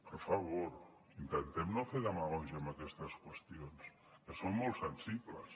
per favor intentem no fer demagògia amb aquestes qüestions que són molt sensibles